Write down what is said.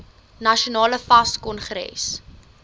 nasionale fas kongres